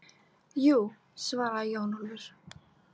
Jú, svaraði Jón Ólafur.